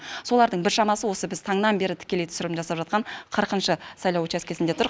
солардың біршамасы осы біз таңнан бері тікелей түсірілім жасап жатқан қырқыншы сайлау учаскесінде тұр